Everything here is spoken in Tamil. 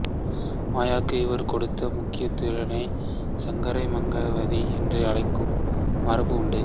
மாயைக்கு இவர் கொடுத்த முக்கியத்தினாலேயே சங்கரரை மாயாவாதி என்று அழைக்கும் மரபு உண்டு